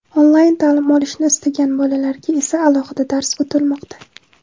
onlayn ta’lim olishni istagan bolalarga esa alohida dars o‘tilmoqda.